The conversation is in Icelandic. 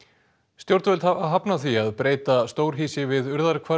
stjórnvöld hafa hafnað því að breyta stórhýsi við